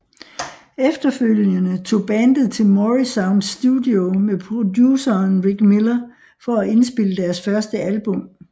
Efterfølgende tog bandet til Morrisound Studio med produceren Rick Miller for at indspille deres første album